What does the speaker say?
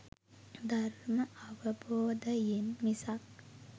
ධර්ම අවබෝධයෙන් මිසක්